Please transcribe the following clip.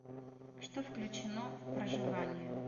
что включено в проживание